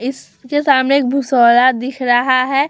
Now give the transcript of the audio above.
इस के सामने एक भुसौड़ा दिख रहा है।